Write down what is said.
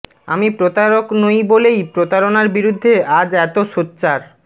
আমি প্রতারক নই বলেই প্রতারণার বিরুদ্ধে আজ এতো সোচ্চার